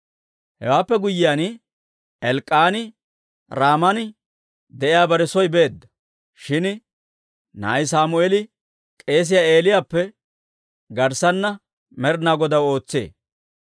Hewaappe guyyiyaan, Elk'k'aani Raaman de'iyaa bare soy beedda; shin na'ay Sammeeli k'eesiyaa Eeliyaappe garssana Med'inaa Godaw ootsee.